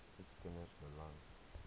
siek kinders beland